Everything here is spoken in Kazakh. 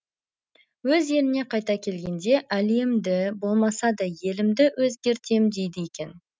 өз еліне қайта келгенде әлемді болмаса да елімді өзгертем дейді екен